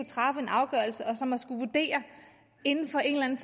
træffe en afgørelse og som inden for en